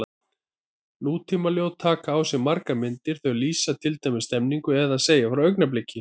Nútímaljóð taka á sig margar myndir, þau lýsa til dæmis stemningu eða segja frá augnabliki.